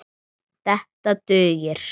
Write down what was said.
Þetta dugir.